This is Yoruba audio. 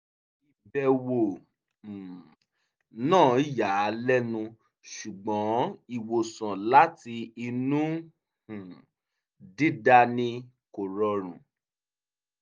ìbẹ̀wò um náà yà á lẹ́nu ṣùgbọ́n ìwòsàn láti inú um dídani kò rọrùn